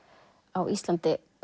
á Íslandi